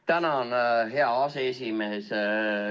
Tänan, hea aseesimees!